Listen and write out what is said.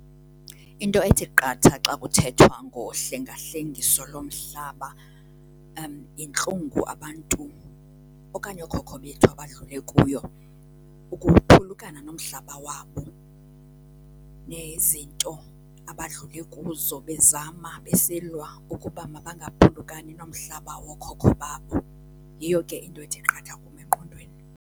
Into ethi qatha xa kuthethwa ngohlengahlengiso lomhlaba yintlungu abantu okanye ookhokho bethu abadlule kuyo ukuphulukana nomhlaba wabo, nezinto abadlule kuzo bezama, besilwa ukuba mabangaphulukani nomhlaba wookhokho babo. Yiyo ke into ethi qatha kum engqondweni.